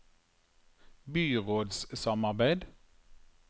byrådssamarbeid